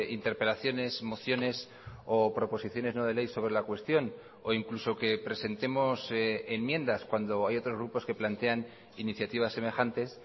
interpelaciones mociones o proposiciones no de ley sobre la cuestión o incluso que presentemos enmiendas cuando hay otros grupos que plantean iniciativas semejantes